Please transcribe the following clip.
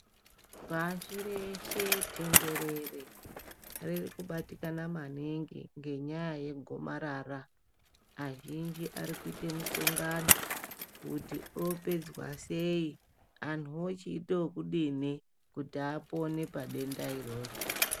Pashi reshe tenderere rikubatikana maningi ngenyaya yegomarara. Vazhinji vari kuita mishongano kuti ropedzwa sei, antu ochiita okudini kuti apone padenda iroro.